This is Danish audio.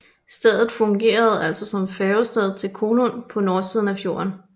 Stedet fungerede altså som færgested til Kollund på nordsiden af fjorden